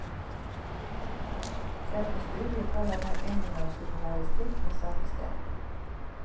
Dette studiet faller nå inn under journalistikk ved samme sted.